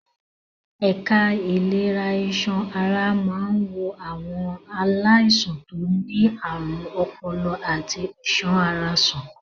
Ẹ̀ka ìlera iṣan ara máa ń wo àwọn aláìsàn tó ní àrùn ọpọlọ àti iṣan ara sàn.